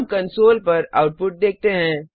हम कंसोल पर आउटपुट देखते हैं